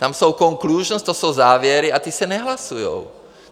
Tam jsou conclusions, to jsou závěry a ty se nehlasují.